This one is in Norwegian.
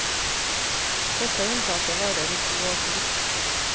Dette unntaket varer i to år til.